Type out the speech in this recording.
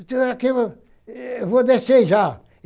O senhor, eu vou descer já.